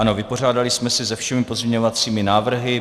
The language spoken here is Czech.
Ano, vypořádali jsme se se všemi pozměňovacími návrhy.